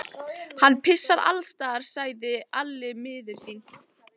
Hann pissar allsstaðar, sagði Alli miður sín.